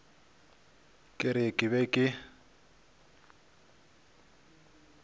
ke re ke be ke